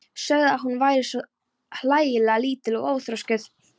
Sögðu að hún væri svo hlægilega lítil og óþroskuð.